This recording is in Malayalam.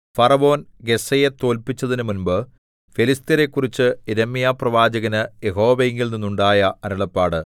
ഫറവോൻ ഗസ്സയെ തോല്പിച്ചതിനുമുമ്പ് ഫെലിസ്ത്യരെക്കുറിച്ച് യിരെമ്യാപ്രവാചകനു യഹോവയിങ്കൽ നിന്നുണ്ടായ അരുളപ്പാട്